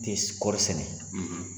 kɔɔri sɛnɛ,